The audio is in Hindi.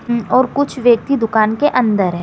हम्म और कुछ व्यक्ति दुकान के अंदर हैं।